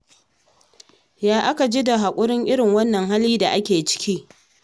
Ya aka ji da haƙurin irin wannan hali da ake ciki?